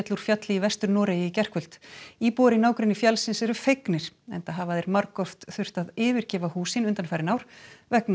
úr fjalli í Vestur Noregi í gærkvöld íbúar í nágrenni fjallsins eru fegnir enda hafa þeir margoft þurft að yfirgefa hús sín undanfarin ár vegna